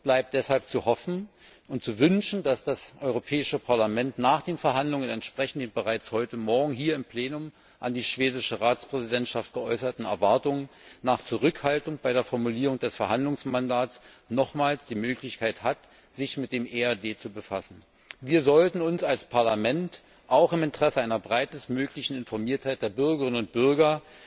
Es bleibt deshalb zu hoffen und zu wünschen, dass das Europäische Parlament nach den Verhandlungen entsprechend den bereits heute morgen hier im Plenum an die schwedische Ratspräsidentschaft geäußerten Erwartungen nach Zurückhaltung bei der Formulierung des Verhandlungsmandats nochmals die Möglichkeit hat, sich mit dem EAD zu befassen. Wir sollten uns als Parlament auch im Interesse einer möglichst breiten Informiertheit der Bürgerinnen und Bürger